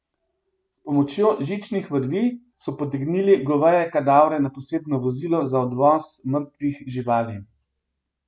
S pomočjo žičnih vrvi so potegnili goveje kadavre na posebno vozilo za odvoz mrtvih živali.